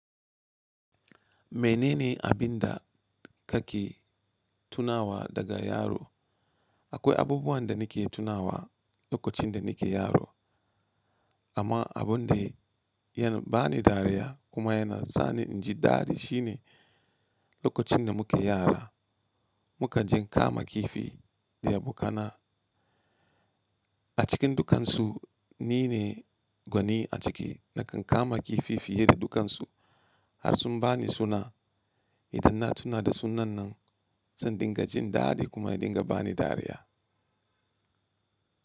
Menene abin da kake tunawa daga yaro? Akwai abubuwan da nake tunawa lokacin da nake yaro, amma abun da yana bani dariya kuma yana sa ni in ji dadi shine lokacin da muke yara. Muka je kama kifi da abokana a cikin dukansu. Ni ne gwani a ciki. Nakan kama kifi fiye da dukansu har sun bani suna. Idan na tuna da sunan nan zan dinga jin dadi kuma ya dinga bani dariya.